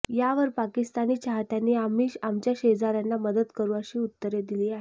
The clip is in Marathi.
यावर पाकिस्तानी चाहत्यांनी आम्ही आमच्या शेजाऱ्यांना मदत करू अशी उत्तरे दिली आहे